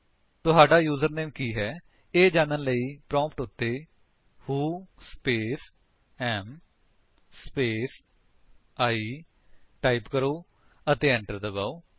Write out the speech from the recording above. ਤੁਹਾਡਾ ਯੂਜਰਨੇਮ ਕੀ ਹੈ ਇਹ ਜਾਣਨ ਲਈ ਪ੍ਰੋਂਪਟ ਉੱਤੇ who space am space I type ਕਰੋ ਅਤੇ enter ਦਬਾਓ